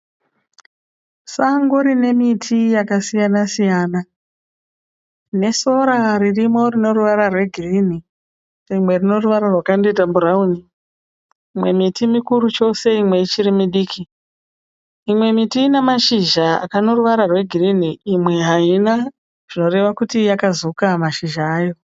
Sango rine miti yakasiyana -siyana rine sora ririmo rinoruvara rweginhi, rimwe rine ruvara rwakandoita bhurauni. Imwe miti mukuru chose imwe ichiri midiki. Imwe miti ine mashizha ane ruvara rwegirinhi, imwe haina zvinoreva kuti yakazuka mashizha ayo.